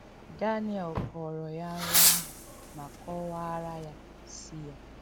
Daniel kọọrọ ya nrọ ahụ ma kọwaara ya isi ya.